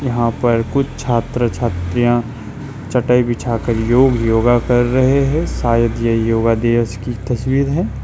यहां पर कुछ छात्र छतरियां चटाई बिछाकर योग योग कर रहे हैं शायद यह योग दिवस की तस्वीर है।